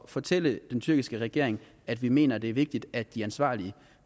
fortælle den tyrkiske regering at vi mener at det er vigtigt at de ansvarlige